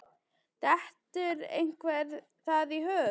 Dettur einhverjum það í hug?